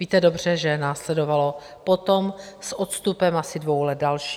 Víte dobře, že následovalo potom s odstupem asi dvou let další.